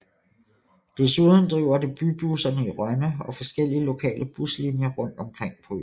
Desuden driver det bybusserne i Rønne og forskellige lokale buslinjer rundt omkring på øen